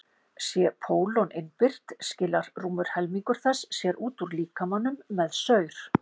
sé pólon innbyrt skilar rúmur helmingur þess sér út úr líkamanum með saur